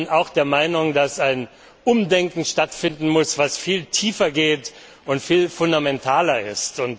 Ich bin auch der Meinung, dass ein Umdenken stattfinden muss, das viel tiefer geht und viel fundamentaler ist.